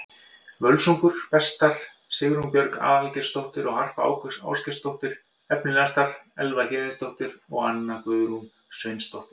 Völsungur: Bestar: Sigrún Björg Aðalgeirsdóttir og Harpa Ásgeirsdóttir Efnilegastar: Elva Héðinsdóttir og Anna Guðrún Sveinsdóttir